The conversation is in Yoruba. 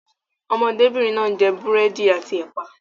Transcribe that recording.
Ọmọdébìnrin náà ń jẹ búrẹ́dì àti ẹ̀pà.